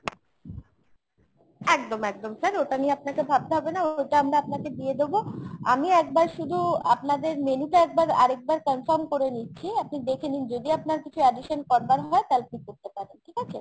একদম একদম sir ওটা নিয়ে আপনাকে ভাবতে হবেনা। ওটা আমরা আপনাকে দিয়ে দেব। আমি একবার শুধু আপনাদের menu টা একবার আরেকবার confirm করে নিচ্ছি। আপনি দেখে নিন যদি আপনার কিছু addition করবার হয় তালে আপনি করতে পারেন ঠিক আছে ?